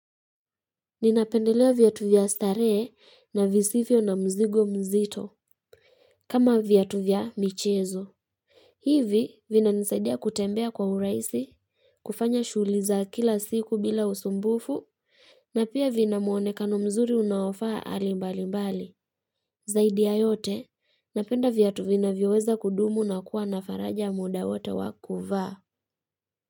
Ninapendelea viatu vya staree na visivyo na mzigo mzito kama viatu vya michezo hivi vinanisaidia kutembea kwa uraisi kufanya shughuli za kila siku bila usumbufu na pia vina muonekano mzuri unaofaa ali mbalimbali Zaidi ya yote napenda viatu vinavyoweza kudumu na kuwa na faraja muda wote wa kuvaa.